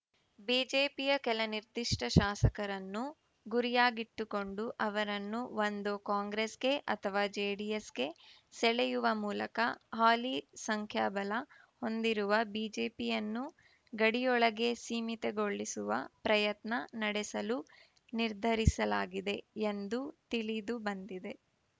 ಬಿಜೆಪಿಯ ಕೆಲ ನಿರ್ದಿಷ್ಟಶಾಸಕರನ್ನು ಗುರಿಯಾಗಿಟ್ಟುಕೊಂಡು ಅವರನ್ನು ಒಂದೋ ಕಾಂಗ್ರೆಸ್‌ಗೆ ಅಥವಾ ಜೆಡಿಎಸ್‌ಗೆ ಸೆಳೆಯುವ ಮೂಲಕ ಹಾಲಿ ಸಂಖ್ಯಾಬಲ ಹೊಂದಿರುವ ಬಿಜೆಪಿಯನ್ನು ಗಡಿಯೊಳಗೆ ಸೀಮಿತಗೊಳಿಸುವ ಪ್ರಯತ್ನ ನಡೆಸಲು ನಿರ್ಧರಿಸಲಾಗಿದೆ ಎಂದು ತಿಳಿದುಬಂದಿದೆ